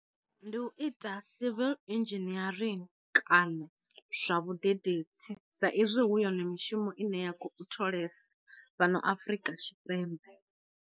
Ndi u ita civil inzhinierini kana zwa vhadededzi, sa izwi hu yone mishumo ine ya kho tholesa fhano afrika tshipembe.